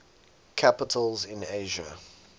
capitals in asia